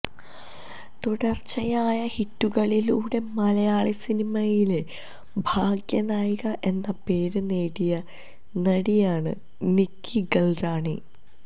തുടർച്ചയായ ഹിറ്റുകളിലൂടെ മലയാളി സിനിമയിലെ ഭാഗ്യ നായിക എന്ന പേര് നേടിയ നടിയാണ് നിക്കി ഗൽറാണി